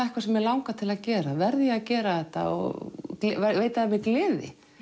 eitthvað sem mig langar til að gera verð ég að gera þetta og veitir það mér gleði